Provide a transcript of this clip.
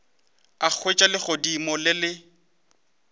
a hwetša legodimo le le